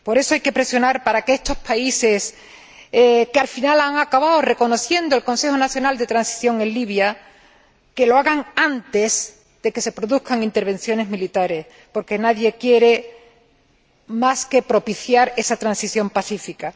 Por eso, hay que presionar para que estos países que al final han acabado reconociendo al Consejo Nacional de Transición en Libia lo hagan antes de que se produzcan intervenciones militares, porque nadie quiere otra cosa que propiciar esa transición pacífica.